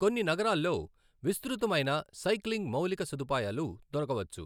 కొన్ని నగరాల్లో విస్తృతమైన సైక్లింగ్ మౌలిక సదుపాయాలు దొరకవచ్చు.